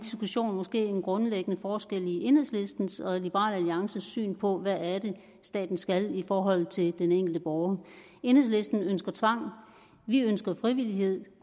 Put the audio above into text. måske en grundlæggende forskel i enhedslistens og liberal alliances syn på hvad det staten skal i forhold til den enkelte borger enhedslisten ønsker tvang vi ønsker frivillighed